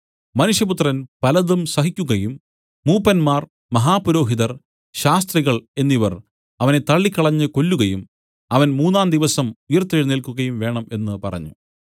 മനുഷ്യപുത്രൻ പലതും സഹിക്കുകയും മൂപ്പന്മാർ മഹാപുരോഹിതർ ശാസ്ത്രികൾ എന്നിവർ അവനെ തള്ളിക്കളഞ്ഞു കൊല്ലുകയും അവൻ മൂന്നാംദിവസം ഉയിർത്തെഴുന്നേല്ക്കുകയും വേണം എന്നു പറഞ്ഞു